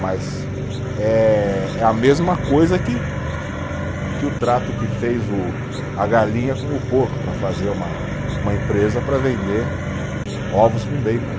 Mas eh, é a mesma coisa que, que o trato que fez o, a galinha com o porco para fazer uma, uma empresa para vender ovos com bacon.